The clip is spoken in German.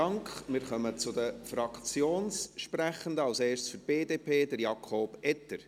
Wir kommen zu den Fraktionssprechenden, als erster für die BDP: Jakob Etter.